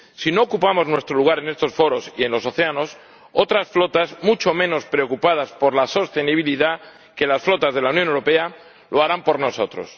Si no ocupamos nuestro lugar en estos foros y en los océanos, otras flotas mucho menos preocupadas por la sostenibilidad que las flotas de la Unión Europea lo harán por nosotros.